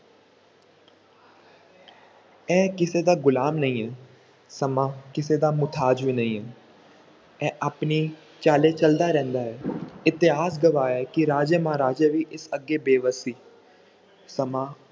ਇਹ ਕਿਸੇ ਦਾ ਗੁਲਾਮ ਨਹੀਂ ਹੈ, ਸਮਾਂ ਕਿਸੇ ਦਾ ਮੁਹਤਾਜ ਵੀ ਨਹੀਂ ਹੈ, ਇਹ ਆਪਣੀ ਚਾਲ ਚੱਲਦਾ ਰਹਿੰਦਾ ਹੈ ਇਤਿਹਾਸ ਗਵਾਹ ਹੈ ਕਿ ਰਾਜੇ ਮਹਾਰਾਜੇ ਵੀ ਇਸ ਅੱਗੇ ਬੇਵਸ਼ ਸੀ ਸਮਾਂ